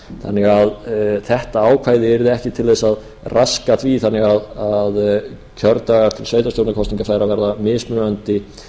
þannig að þetta ákvæði yrði ekki til þess að raska því þannig að kjördagar til sveitarstjórnarkosninga færu að verða mismunandi